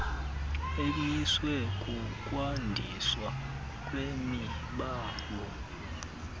emiswe kukwandiswa kwemibango